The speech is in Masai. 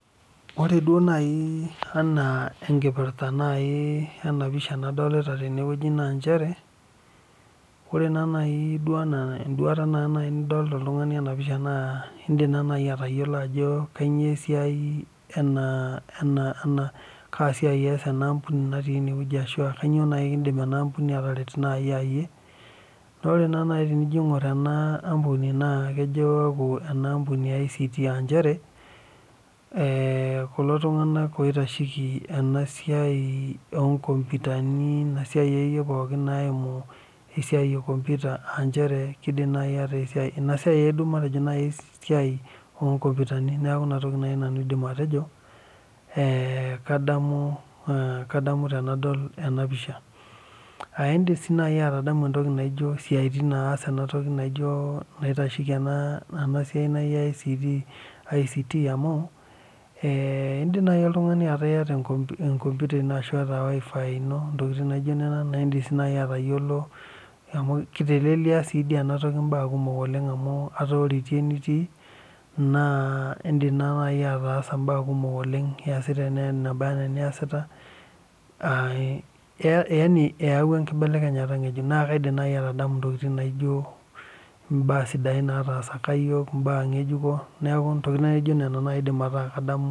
Ore duo naaji ena enkipirta ena pisha nadolita tene naa nchere ore naa naaji ena enduata nidolita oltung'ani ena pisha naidim atayiolo Ajo kainyio esiai enaa kasiai eas ena ambuni ashu Kaa siai naaji eidim ena ambuni naa ore naaji tenijo aing'or ena ambuni naa kejo aaku ena ambuni ee ICT aa njere ore kulo tung'ana oitasheki enasiai oo nkompitani ena siai ekeyie nayimu esiai ee ekompita kidim naaji ataa esiai oo nkompitani neeku enaa naaji nanu aidim atejo kadamu tenadol ena pisha aidim sii naaji aitadamu entoki naijio esiatin naitasheki enasiai naaji ICT amu edim naaji oltung'ani ataa eyata kompita eno ashu wifi eno ntokitin naijio Nena naa edim atayiolo amu netelelia ena toki mbaa kumok oleng amu etaa ore etii enitii naa edim ataasa mbaa kumok oleng eyasita embae naba ena eniasita aa yaani eyawua enkinelekenyata ng'ejuk naa kaidim naaji aitadamu mbaa sidain natasaka iyiok mbaa ngejuko neeku mbaa naijio Nena naaji aidim ataa kadamu